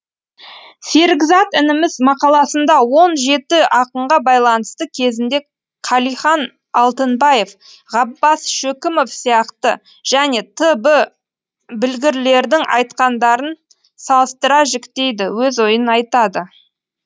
серікзат ініміз мақаласында он жеті ақынға байланысты кезінде қалихан алтынбаев ғаббас шөкімов сияқты және т б білгірлердің айтқандарын салыстыра жіктейді өз ойын айтады